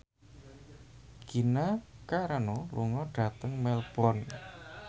Gina Carano lunga dhateng Melbourne